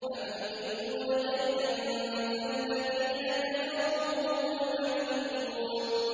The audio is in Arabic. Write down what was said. أَمْ يُرِيدُونَ كَيْدًا ۖ فَالَّذِينَ كَفَرُوا هُمُ الْمَكِيدُونَ